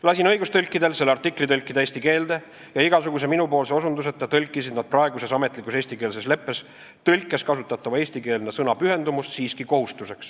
Lasin õigustõlkidel selle artikli tõlkida eesti keelde ja igasuguse minupoolse osutuseta kasutasid nad praeguses eestikeelse leppe ametlikus tõlkes kasutatava eestikeelse sõna "pühendumus" asemel siiski sõna "kohustus".